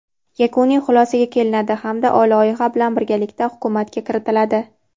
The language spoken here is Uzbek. yakuniy xulosaga kelinadi hamda loyiha bilan birgalikda Hukumatga kiritiladi.